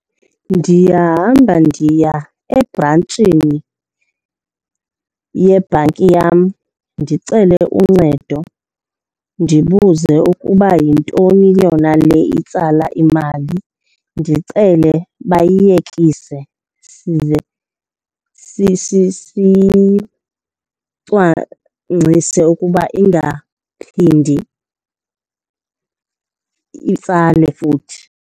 Ndiyahamba ndiya ebrantshini yebhanki yam ndicele uncedo, ndibuze ukuba yintoni yona le itsala imali. Ndicele bayiyekise size siyicwangcise ukuba ingaphindi itsale futhi.